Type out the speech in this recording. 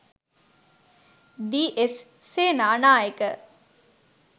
D. S. Senanayake,